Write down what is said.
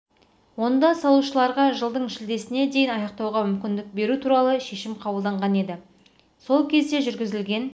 онда салушыларға жылдың шілдесіне дейін аяқтауға мүмкіндік беру туралы шешім қабылданған еді сол кезде жүргізілген